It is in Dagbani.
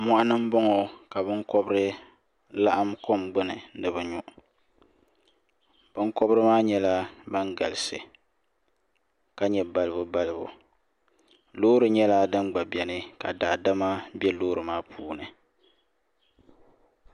moɣani n boŋo ka binkobiri laɣam kom gbuni ni bi nyu binkobiri maa nyɛla ban galisi ka nyɛ balibu balibu loori nyɛla din gba biɛni ka daadama bɛ loori maa puuni